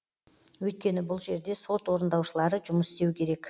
өйткені бұл жерде сот орындаушылары жұмыс істеу керек